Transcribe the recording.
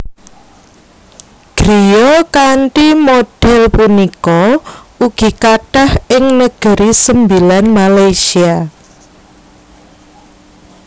Griya kanthi modhél punika ugi kathah ing Negeri Sembilan Malaysia